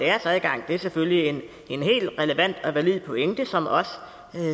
adgang det er selvfølgelig en helt relevant og valid pointe som også